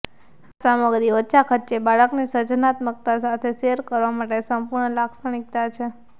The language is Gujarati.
આ સામગ્રી ઓછા ખર્ચે અને બાળકની સર્જનાત્મકતા સાથે શેર કરવા માટે સંપૂર્ણ લાક્ષણિકતા છે